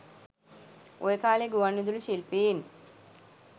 ඔය කාලේ ගුවන්විදුලි ශිල්පීන්